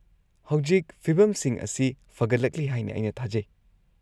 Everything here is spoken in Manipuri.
-ꯍꯧꯖꯤꯛ ꯐꯤꯕꯝꯁꯤꯡ ꯑꯁꯤ ꯐꯒꯠꯂꯛꯂꯤ ꯍꯥꯏꯅ ꯑꯩꯅ ꯊꯥꯖꯩ?